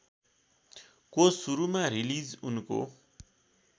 को सुरूमा रिलिज उनको